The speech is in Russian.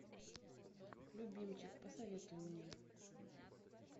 любимчик посоветуй мне